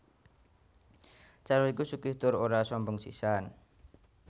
Sarno iku sugih tur ora sombong sisan